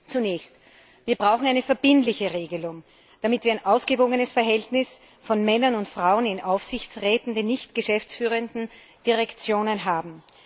Zunächst Wir brauchen eine verbindliche Regelung, damit wir ein ausgewogenes Verhältnis von Männern und Frauen in Aufsichtsräten, unter den nicht geschäftsführenden Direktoren haben.